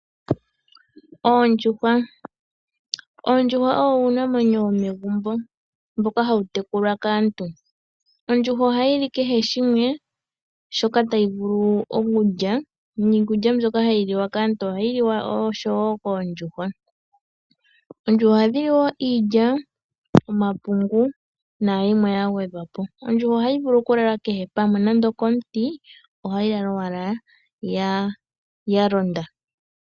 Oondjuhwa, Oondjuhwa owo uunamwenyo womegumbo, mboka ha wu tekulwa kaantu. Ondjuhwa oha yi li kehe shimwe shoka ta yi vulu okulya. Niikulya mbyoka ha yi liwa kaantu, oha yi liwa oshowo koondjuhwa. Oondjuhwa oha dhi li woo iilya, omapungu nayimwe ya gwedhwa po. Ondjuhwa oha yi vulu okulala kehe pamwe, nande oko muti oha yi lala owala ya londa.